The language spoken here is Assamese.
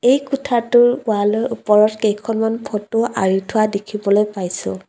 এই কোঠাটোৰ ৱালৰ ওপৰত কেইখনমান ফটো আঁৰি থোৱা দেখিবলৈ পাইছোঁ।